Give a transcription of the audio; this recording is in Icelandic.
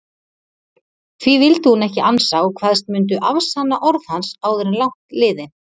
Því vildi hún ekki ansa og kvaðst mundu afsanna orð hans áður langt liði.